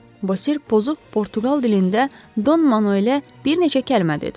Basir pozub Portuqaliya dilində Don Manuelə bir neçə kəlmə dedi.